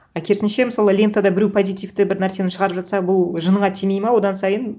ы керісінше мысалы лентада біреу позитивті бір нәрсені шығарып жатса бұл жыныңа тимейді ма одан сайын